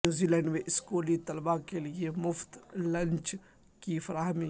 New Zealand میں اسکولی طلبہ کیلئے مفت لنچ کی فراہمی